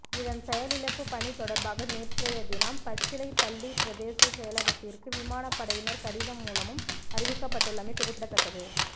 இதன் செயலிழப்பு பணி தொடர்பாக நேற்றயதினம் பச்சிலைப் பள்ளி பிரதேச செயலகத்திற்கு விமானப்படையினர் கடிதம் மூலமும் அறிவிக்கப்பட்டுள்ளமை குறிப்பிடத்தக்கது